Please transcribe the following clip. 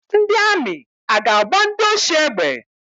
Ndị amị a ga-agba ndị oshi egbe?